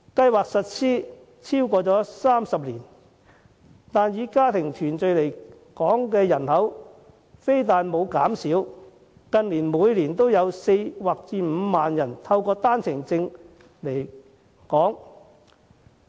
計劃實施超過30年，以家庭團聚為由申請來港的人數卻沒有減少，近年每年也有4萬至5萬人持單程證來港。